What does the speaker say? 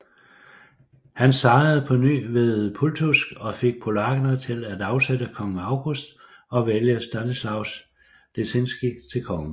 Han sejrede på ny ved Pultusk og fik polakkerne til at afsætte kong August og vælge Stanislaus Leszinski til konge